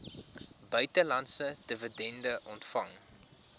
buitelandse dividende ontvang